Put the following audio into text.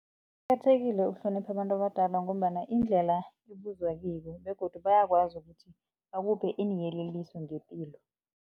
Kuqakathekile ukuhlonipha abantu abadala ngombana indlela ibuzwa kibo begodu bayakwazi ukuthi bakuphe iinyeleliso ngepilo.